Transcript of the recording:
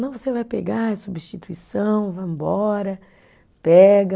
Não, você vai pegar, é substituição, vamos embora, pega.